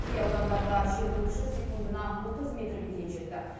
кей аудандарда желдің күші секундына отыз метрге дейін жетті